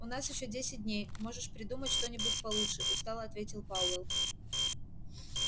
у нас ещё десять дней можешь придумать что-нибудь получше устало ответил пауэлл